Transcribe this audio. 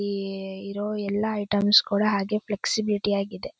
''ಈ ಇರೋ ಎಲ್ಲಾ ಐಟೆಮ್ಸ್ ಗಳು ಹಾಗೆ''''ಫ್ಲೆಕ್ಸಿಬಿಲಿಟಿ ಆಗಿ ಇದೆ.''